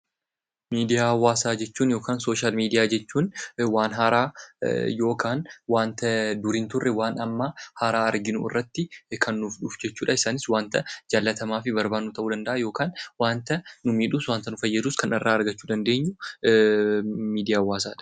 Miidiyaa hawaasaa jechuun yookaan sooshaal miidiyaa jechuun waan haaraa yookaan waanta dur hin turre, waan amma haaraa arginu irratti kan nuuf dhufu jechuudha. Isaanis waanta jaallatamaa fi barbaannu ta'uu danda'a yookaan waanta nu miidhus waanta nu fayyadus kan irraa argachuu dandeenyu miidiyaa hawaasaadha.